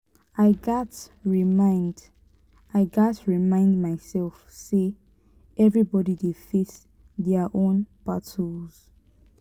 i gats remind i gats remind myself say everybody dey face their own battles.